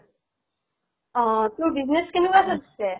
অ, তোৰ business কেনেকুৱা চলিছে?